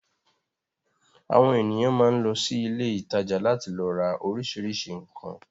Àwọn ènìyàn máa ń lọ sí ilé-ìtajà láti lọ ra oríṣiríṣi nǹkan.